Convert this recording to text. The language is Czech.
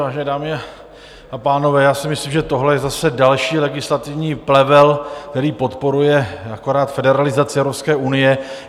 Vážené dámy a pánové, já si myslím, že tohle je zase další legislativní plevel, který podporuje akorát federalizaci Evropské unie.